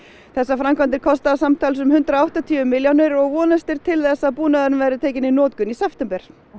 þessar framkvæmdir kosta samtals um hundrað og áttatíu milljónir og vonast er til þess að búnaðurinn verði tekinn í notkun í september